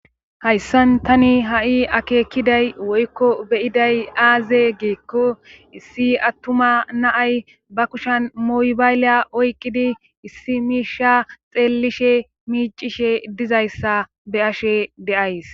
hayssan tani ha7i akeekkiday woykko beyiday aaze geekko issi attuma naay ba kushan moybayleya oyqqidi issi miisha xeellishe miicishe dizayssa be ashe deays